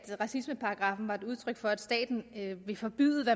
racismeparagraffen var et udtryk for at staten ville forbyde det